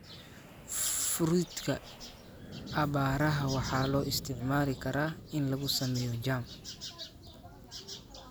Fruita aabbaaraha waxaa loo isticmaali karaa in lagu sameeyo jam.